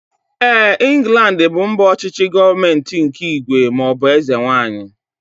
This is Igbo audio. Éè, Inglandi bụ mba ọchịchị gọọmenti nke ígwè maọbụ eze nwaanyị